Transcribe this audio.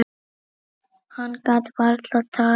Hann gat varla talað.